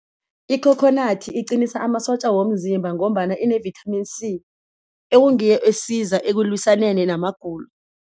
Ikhokhonathi iqinisa amasotja womzimba ngombana ine-Vitamin C, ekungiyo esiza ekulwisaneni namagulo.